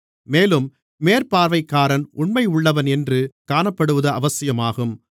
மேலும் மேற்பார்வைக்காரன் உண்மையுள்ளவன் என்று காணப்படுவது அவசியமாகும்